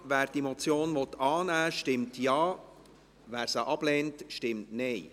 Wer die Motion annehmen will, stimmt Ja, wer diese ablehnt, stimmt Nein.